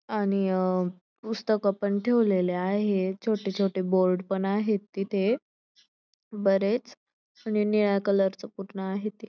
आणि अ पुस्तक पण ठेवलेली आहेत छोटे छोटे बोर्ड पण आहेत तिथे बरेच निळ्या कलर च पूर्ण आहे ते.